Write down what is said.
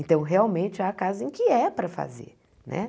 Então, realmente, há casos em que é para fazer né.